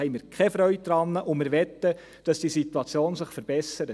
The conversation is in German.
Wir haben keine Freude daran und wir möchten, dass sich diese Situation verbessert.